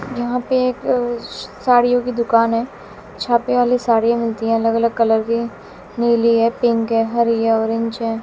वहां पर एक साड़ियों की दुकान है। छापे वाली साड़ी मिलती है अलग अलग कलर की नीली है पिक है हरि है ऑरेंज है।